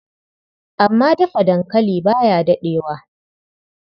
Amma Dafa dankali ba ya daɗewa.